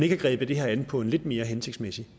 have grebet det her an på en lidt mere hensigtsmæssig